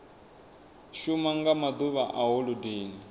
shuma nga maḓuvha a holodeni